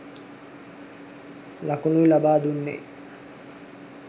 ලකුණුයි ලබා දුන්නෙ.